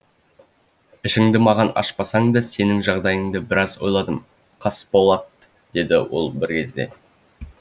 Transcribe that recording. маған ашпасаң да сенің жағдайыңды біраз ойладым қасболат деді ол бір кезде